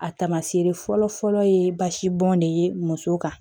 A taamasere fɔlɔ fɔlɔ ye basi bɔn de ye muso kan